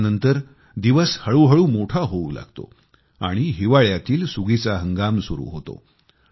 ह्यानंतर दिवस हळू हळू मोठा होऊ लागतो आणि हिवाळ्यातील सुगीचा हंगाम सुरु होतो